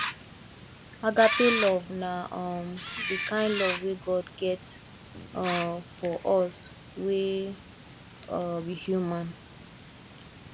agape love na um de kind love wey god get um for us wey um be human